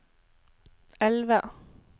elve